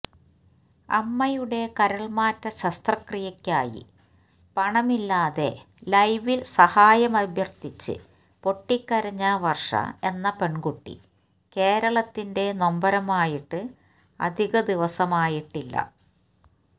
അമ്മയുടെ കരൾമാറ്റ ശസ്ത്രക്രിയക്കായി പണമില്ലാതെ ലൈവിൽ സഹായമഭ്യർത്ഥിച്ച് പൊട്ടിക്കരഞ്ഞ വർഷ എന്ന പെൺകുട്ടി കേരളത്തിന്റെ നൊമ്പരമായിട്ട് അധിക ദിവസമായിട്ടില്ല